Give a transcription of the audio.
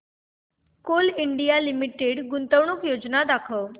Coal India Limited गुंतवणूक योजना दाखव